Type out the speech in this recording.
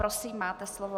Prosím, máte slovo.